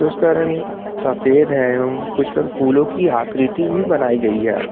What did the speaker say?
उसका रंग सफेद है एवं कुछ पर फूलों की आकृति भी बनाई गई है।